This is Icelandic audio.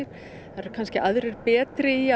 það eru kannski aðrir betri í